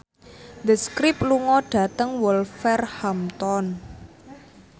The Script lunga dhateng Wolverhampton